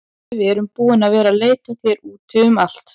Bíddu, við erum búin að vera að leita að þér úti um allt.